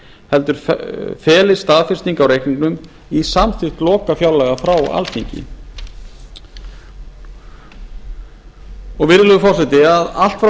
heldur felist staðfesting á reikningnum í samþykkt lokafjárlaga frá alþingi virðulegi forseti allt fá